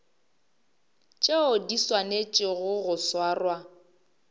tšeo di swanetšego go swarwa